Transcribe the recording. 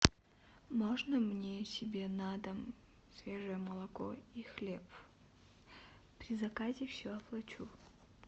можно мне себе на дом свежее молоко и хлеб при заказе все оплачу